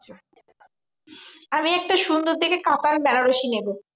আমি একটা সুন্দর দেখে কাতান বেনারসি নেবো।